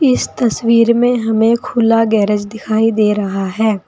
इस तस्वीर में हमें खुला गैरेज दिखाई दे रहा है।